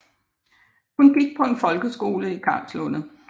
Hun gik på en folkeskole i Karlslunde